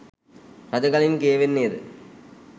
රජගලින් කියවෙන්නේද